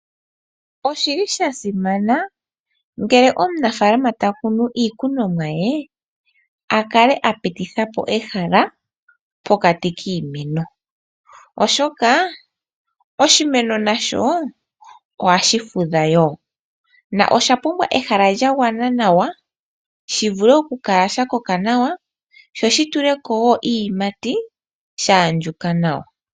Oshili sha simana ngele omunafaalama ta kunu iikunomwa ye, a kale a pititha po ehala pokati kiimeno, oshoka oshimeno nasho ohashi fudha wo, na osha pumbwa ehala lya gwana nawa, shivule okukala sha koka nawa, sho shi tule ko wo iiyimati, sha andjuka nawa.